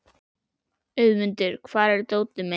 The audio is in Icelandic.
Auðmundur, hvar er dótið mitt?